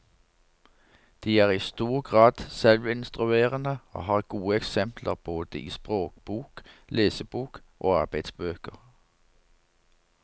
De er i stor grad selvinstruerende og har gode eksempler både i språkbok, lesebok og arbeidsbøker.